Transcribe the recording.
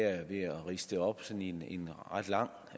og der